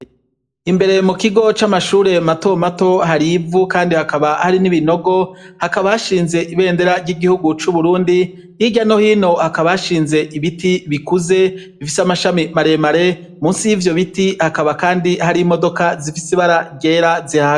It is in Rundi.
Imbere mukigo c'amashure matomato, hari ivu kandi hakaba hari n'ibinogo, hakaba hashinze ibendera ry'igihugu c'Uburundi, hirya no hino hakaba hashinze ibiti bikuze bifise amashami maremare, musi y'ivyo biti hakaba kandi hari imodoka zifise ibara ryera.